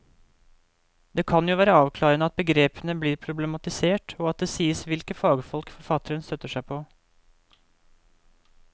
Det kan jo være avklarende at begrepene blir problematisert og at det sies hvilke fagfolk forfatteren støtter seg på.